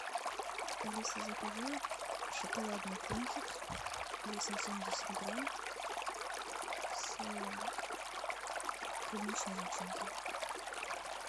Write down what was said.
алиса закажи шоколадный пончик весом семьдесят грамм с клубничной начинкой